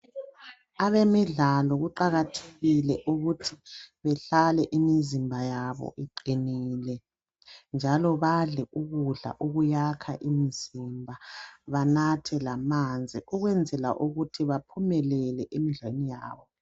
Abemidlalo kuqakathekile ukuthi, behlale imizimba yabo iqinile, njalo badle ukudla okuyakha imizimba. Banathe lamanzi ukwenzela ukuthi baphumelele emidlalweni yabo.